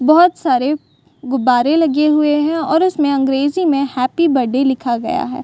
बहोत सारे गुब्बारे लगे हुए हैं और उसमे अंग्रेजी में हैप्पी बर्थडे लिखा गया है।